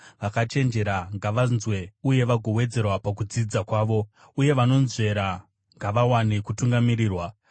vakachenjera ngavanzwe uye vagowedzera pakudzidza kwavo, uye vanonzvera ngavawane kutungamirirwa,